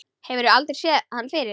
Hefur aldrei séð hann fyrr.